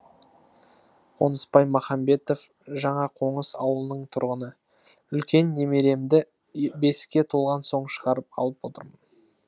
қонысбай махамбетов жаңақоныс ауылының тұрғыны үлкен немеремді беске толған соң шығарып алып отырмын